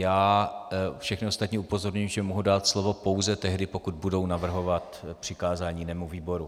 Já všechny ostatní upozorňuji, že mohu dát slovo pouze tehdy, pokud budou navrhovat přikázání jinému výboru.